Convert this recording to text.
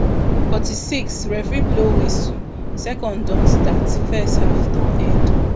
forty-six referee blow whistle second don start first half don end